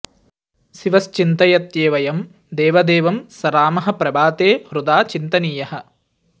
शिवश्चिन्तयत्येव यं देवदेवं स रामः प्रभाते हृदा चिन्तनीयः